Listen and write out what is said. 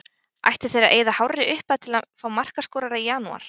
Ættu þeir að eyða hárri upphæð til að fá markaskorara í janúar?